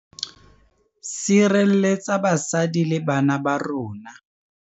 Sirelletsa basadi le bana ba rona.